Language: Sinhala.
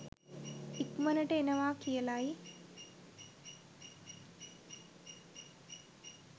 ඉක්‌මනට එනවා කියලයි.